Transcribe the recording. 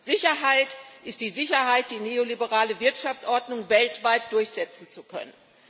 Sicherheit ist die Sicherheit, die neoliberale Wirtschaftsordnung weltweit durchsetzen zu können.